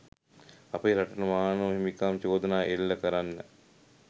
අපේ රටට මානව හිමිකම් චෝදනා එල්ල කරන්න